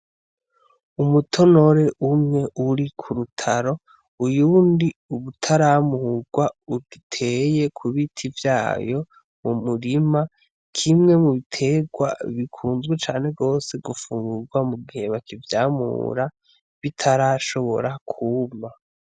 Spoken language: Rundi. Umutonore umwe uri k'urutaro uyundi utaramurwa ugiteye ku biti vyayo mu murima, kimwe mu bitegwa bikunzwe cane gose gufungurwa mu gihe bakivyamura, bitarashobora kuma.